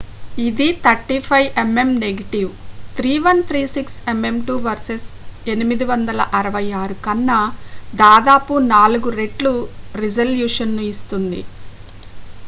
ఇది 35mm negative 3136 mm2 versus 864 కన్నా దాదాపు నాలుగు రెట్లు రిజల్యూషన్ను ఇస్తుంది